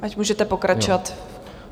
Tak, můžete pokračovat.